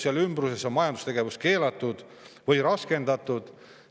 Seal ümbruses on majandustegevus keelatud või raskendatud.